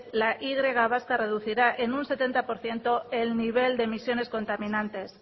la y vasca reducirá en un setenta por ciento el nivel de emisiones contaminantes